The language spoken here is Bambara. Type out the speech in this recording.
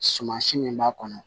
Sumasi min b'a kɔnɔ